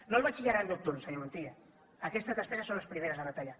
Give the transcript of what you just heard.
no el batxillerat nocturn senyor montilla aquestes despeses són les primeres a retallar